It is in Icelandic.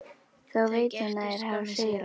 Þá veit hún að þeir hafa sigrað.